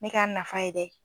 N me k'a nafa ye dɛ!